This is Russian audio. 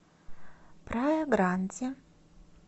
прая гранди